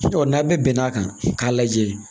n'a bɛɛ bɛnn'a kan k'a lajɛ